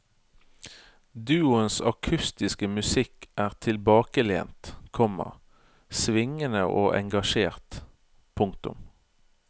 Duoens akustiske musikk er tilbakelent, komma svingende og engasjert. punktum